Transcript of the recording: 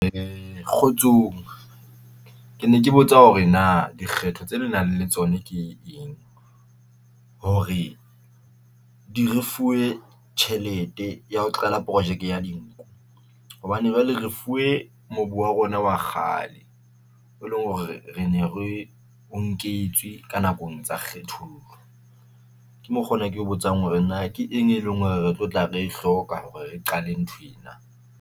Kgotsong ke ne ke botsa hore na dikgetho tse le nang le tsona ke eng hore di fuwe tjhelete ya ho qala projeke ya dinku hobane jwale re fuwe mobu wa rona wa kgale, e leng hore re ne re o nketswe ka nakong tsa kgethollo. Ke mokgo o na ke botsang hore na ke eng e leng hore re tlo tla re hloka hore re qale nthwena.